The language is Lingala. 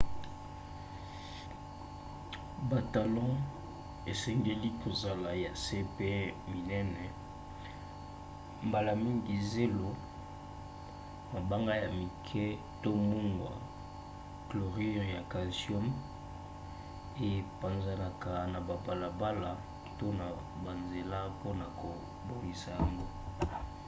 batalon esengeli kozala ya se mpe minene. mbala mingi zelo mabanga ya mike to mungwa chlorure ya calcium epanzanaka na babalabala to na banzela mpona kobongisa yango